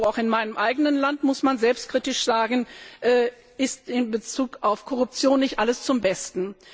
Auch in meinem eigenen Land, muss man selbstkritisch sagen, steht in Bezug auf Korruption nicht alles zum Besten.